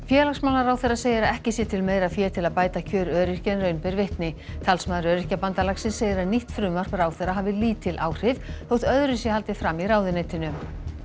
félagsmálaráðherra segir að ekki sé til meira fé til að bæta kjör öryrkja en raun ber vitni talsmaður Öryrkjabandalagsins segir að nýtt frumvarp ráðherra hafi lítil áhrif þótt öðru sé haldið fram af ráðuneytinu